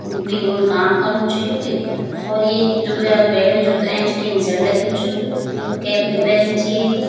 उन कुई उन काम कन्नू च यु एक और येक जुग्र्याक बैठ्यु जुग त ऐंच टिन शेड लग्युं च कैप भी पैरीं च येक।